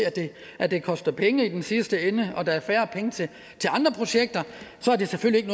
at det koster penge i den sidste ende og der er færre penge til andre projekter er det selvfølgelig